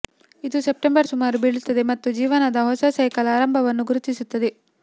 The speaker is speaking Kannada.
ಇದು ಸೆಪ್ಟೆಂಬರ್ ಸುಮಾರು ಬೀಳುತ್ತದೆ ಮತ್ತು ಜೀವನದ ಹೊಸ ಸೈಕಲ್ ಆರಂಭವನ್ನು ಗುರುತಿಸುತ್ತದೆ